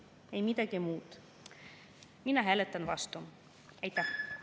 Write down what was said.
Minu oponent väitis, et LGBT-temaatika kohta ei tohi kasutada sõna "propaganda", kuna see on nende suhtes solvav.